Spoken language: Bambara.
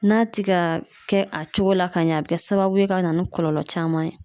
N'a ti ga kɛ a cogo la ka ɲɛ a bi kɛ sababu ye ka na ni kɔlɔlɔ caman ye